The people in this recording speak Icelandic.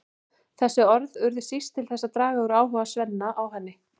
Þessi orð urðu síst til þess að draga úr áhuga Svenna á henni.